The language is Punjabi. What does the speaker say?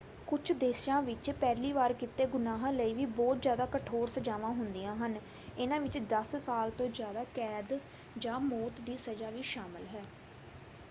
ਕੁਝ ਦੇਸ਼ਾਂ ਵਿੱਚ ਪਹਿਲੀ ਵਾਰ ਕੀਤੇ ਗੁਨਾਹਾਂ ਲਈ ਵੀ ਬਹੁਤ ਜ਼ਿਆਦਾ ਕਠੋਰ ਸਜ਼ਾਵਾਂ ਹੁੰਦੀਆਂ ਹਨ; ਇਨ੍ਹਾਂ ਵਿੱਚ 10 ਸਾਲ ਤੋਂ ਜ਼ਿਆਦਾ ਕੈਦ ਜਾਂ ਮੌਤ ਦੀ ਸਜ਼ਾ ਵੀ ਸ਼ਾਮਲ ਹੈ।